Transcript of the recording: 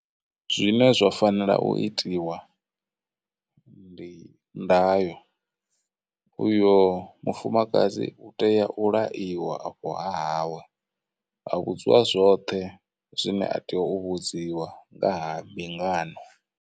Zwine zwa fanela u itiwa ndi ndayo, uyo mufumakadzi u tea u laiwa afho hawe, a vhudziwa zwoṱhe zwine a tea u vhudziwa nga ha mbingano.